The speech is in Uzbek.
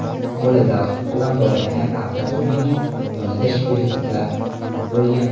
Qo‘li galstuk bilan bog‘langan Al Qosimining yonida shpirtslar bo‘lgan.